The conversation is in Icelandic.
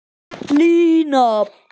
Lína